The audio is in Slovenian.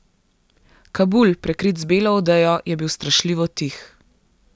Kabul, prekrit z belo odejo, je bil strašljivo tih.